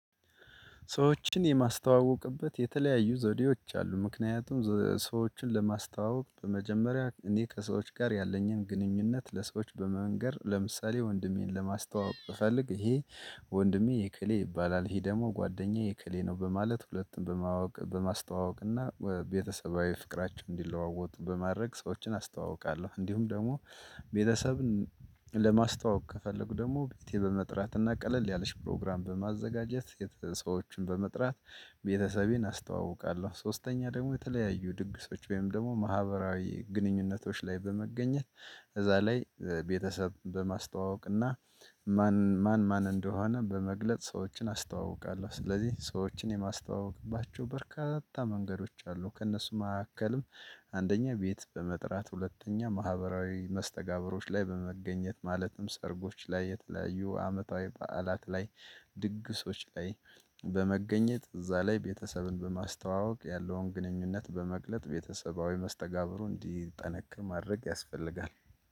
ሰዎችን የማስተዋውቅበት የተለያዩ ዘዴዎች አሉ። ምክንያቱም ሰዎችን ለማስተዋወቅ በመጀመሪያ እኔ ከሰዎች ጋር ያለኝን ግንኙነት ለሰዎች በመንገር ለምሳሌ ወንድሜን ለማስተዋወቅ እፈልግ ይሄ ወንድሜ የክሌ ይባላል ይሄ ደግሞ ጓደኛዬ የክሌ ነው በማለት ሁለቱም በማወቅ በማስተዋወቅ እና ቤተሰባዊ ፍቅራችን እንዲለዋወጡ በማድረግ ሰዎችን አስተዋውቃለሁ። እንዲሁም ደግሞ ቤተሰብን ለማስተዋወቅ ከፈለጉ ደግሞ ቤቴ በመጥራት እና ቀለል ያለች ፕሮግራም በማዘጋጀት ሰዎችን በመጥራት ቤተሰቤን አስተዋውቃለሁ። ሶስተኛ ደግሞ የተለያዩ ድግሶች ወይም ደግሞ ማህበራዊ ግንኙነቶች ላይ በመገኘት እዛ ላይ ቤተሰብ በማስተዋወቅ እና ማን ማን ማን እንደሆነ በመግለጽ ሰዎችን አስተዋውቃለሁ። ስለዚህ ሰዎችን የማስተዋውቅባቸው በርካታ መንገዶች አሉ። ከእነሱ መካከልም አንደኛ ቤት በመጥራት ሁለተኛ ማህበራዊ መስተጋብሮች ላይ በመገኘት ማለትም ሰርጎች ላይ የተለያዩ አመታዊ በዓላት ላይ ድግሶች ላይ በመገኘት እዛ ላይ ቤተሰብን በማስተዋወቅ ያለውን ግንኙነት በመግለጥ ቤተሰባዊ መስተጋብሩን እንዲጠነክር ማድረግ ያስፈልጋል